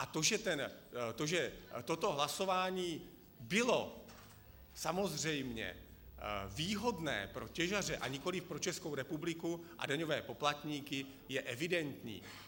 A to, že toto hlasování bylo samozřejmě výhodné pro těžaře a nikoli pro Českou republiku a daňové poplatníky, je evidentní.